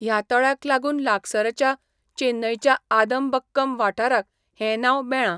ह्या तळ्याक लागून लागसारच्या चेन्नईच्या आदमबक्कम वाठाराक हें नांव मेळ्ळां.